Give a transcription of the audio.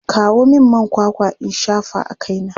Kawo min man kwakwa in shafa a kaina!